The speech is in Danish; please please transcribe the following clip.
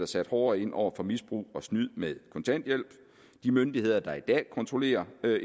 sat hårdere ind over for misbrug og snyd med kontanthjælp de myndigheder der i dag kontrollerer